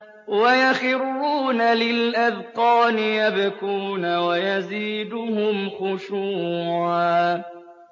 وَيَخِرُّونَ لِلْأَذْقَانِ يَبْكُونَ وَيَزِيدُهُمْ خُشُوعًا ۩